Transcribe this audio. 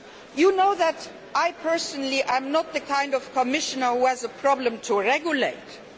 You know that I personally am not the kind of Commissioner who has a problem in regulating.